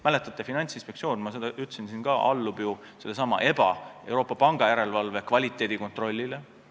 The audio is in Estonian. Mäletate, Finantsinspektsioon – ma seda siin ütlesin ka – allub ju sellesama EBA ehk Euroopa Pangandusjärelevalve kvaliteedikontrollile.